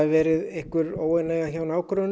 verið óánægja hjá nágrönnunum